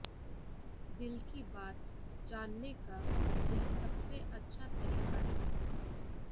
दिल की बात जानने का यह सबसे अच्छा तरीका है